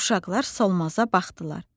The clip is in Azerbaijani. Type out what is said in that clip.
Uşaqlar Solmaza baxdılar.